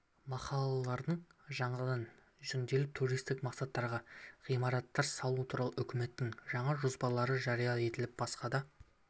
махаллалардың жаңадан жөнделіп туристік мақсаттағы ғимараттар салу туралы үкіметтің жаңа жоспарлары жария етіліп басқа да